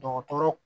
Dɔgɔtɔrɔ